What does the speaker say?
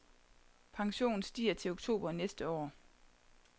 Pensionen stiger til oktober næste år.